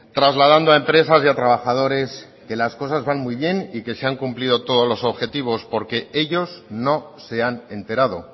trasladando a empresas y a trabajadores que las cosas van muy bien y que se han cumplidos todos los objetivos porque ellos no se han enterado